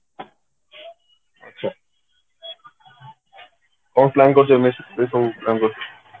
ଆଛା କଣ plan କରିଛ next ରେ କଣ plan କରିଛ